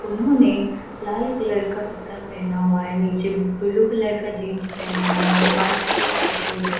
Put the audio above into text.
उन्होंने लाल कलर का कपड़ा पहना हुआ है नीचे ब्लू कलर का जींस पहनी हुई है और वाइट कलर की शूज है।